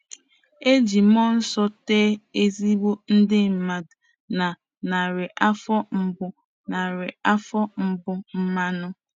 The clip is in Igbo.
E ji mmụọ nsọ tee ezigbo ndị mmadụ na narị afọ mbụ narị afọ mbụ mmanụ.